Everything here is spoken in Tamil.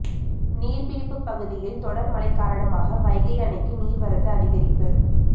நீர்ப்பிடிப்பு பகுதியில் தொடர் மழை காரணமாக வைகை அணைக்கு நீர்வரத்து அதிகரிப்பு